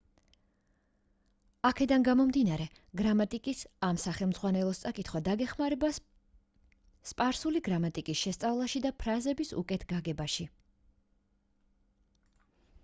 აქედან გამომდინარე გრამატიკის ამ სახელმძღვანელოს წაკითხვა დაგეხმარება სპარსული გრამატიკის შესწავლაში და ფრაზების უკეთ გაგებაში